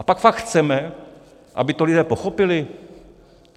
A pak fakt chceme, aby to lidé pochopili?